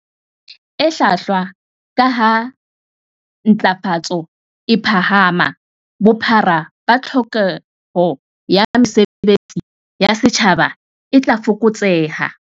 E hlwahlwa, kaha ha ntlafatso e phahama, bophara ba tlhokeho ya mesebe tsi ya setjhaba e tla fokotseha.